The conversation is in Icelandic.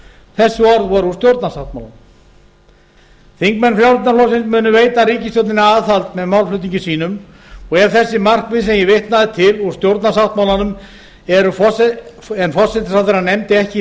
þessi orð voru úr stjórnarsáttmálanum þingmenn frjálslynda flokksins munu veita ríkisstjórninni aðhald með málflutningi sínum og ef þessi markmið sem ég vitnaði til úr stjórnarsáttmálanum en forsætisráðherra nefndi ekki í